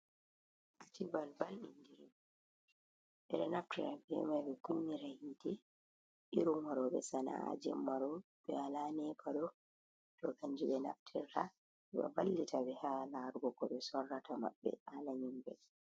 Acibalbal, ɓe ɗo naftira bee man ɓe kunnira yi'ite, irin waɗooɓe sana'a jemma ɗo, walaa Nepa ɗo, kanjum ɓe naftirta, ɗo vallita ɓe, ha laarugo ko ɓe sorrirta haala nyiɓre.